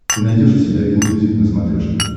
ты найдешь у себя энмьюзик на смотрешке